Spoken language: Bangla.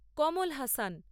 কমল হাসান